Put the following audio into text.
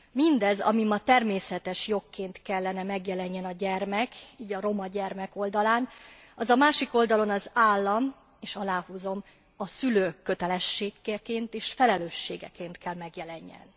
Mindez, ami ma természetesen jogként kellene megjelenjen a gyermek, így a roma gyermek oldalán, az a másik oldalon az állam, és aláhúzom, a szülők kötelességeként és felelősségeként kell megjelenjen.